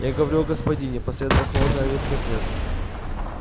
я говорю о господине последовал холодный резкий ответ